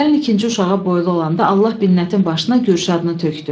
Gəlin ikinci uşağa boylu olanda Allah Binnətin başına Gülşadını tökdü.